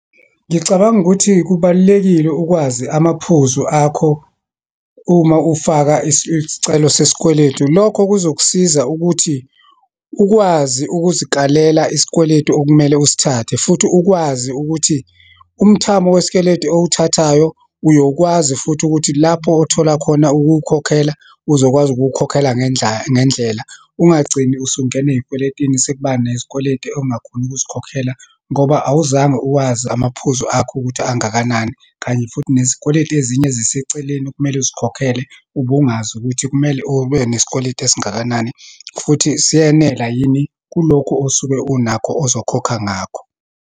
Ngicabanga ukuthi kubalulekile ukwazi amaphuzu akho uma ufaka isicelo sesikweletu. Lokho kuzokusiza ukuthi ukwazi ukuzikalela isikweletu okumele usithathe, futhi ukwazi ukuthi umthamo wesikweletu owuthathayo uyokwazi futhi ukuthi lapho othola khona ukuwukhokhela, uzokwazi ukuwukhokhela ngendlela. Ungagcini usungena eyikweletini, sekuba nezikweletu ongakhoni ukuzikhokhela, ngoba awuzange uwazi amaphuzu akho ukuthi angakanani, kanye futhi nezikweletu ezinye eziseceleni okumele uzikhokhele, ubungazi ukuthi kumele ube nesikweletu esingakanani, futhi siyenela yini kulokhu osuke unakho ozokhokha ngakho.